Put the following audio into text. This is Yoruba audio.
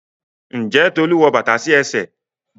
Njé Tolu wọ bàtà sí ẹsẹ̀?